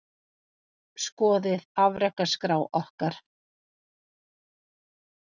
Skoðið afrekaskrá okkar